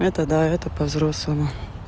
это да это по-взрослому